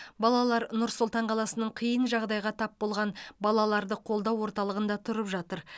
балалар нұр сұлтан қаласының қиын жағдайға тап болған балаларды қолдау орталығында тұрып жатыр